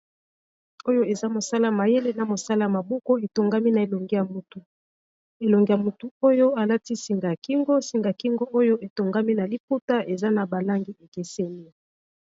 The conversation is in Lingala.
Oyo eza mosala mayele na mosala maboko etongami na elongi ya motu, elongi ya motu oyo alati singa ya kingo singa kingo oyo etongami na liputa eza na ba langi ekeseni.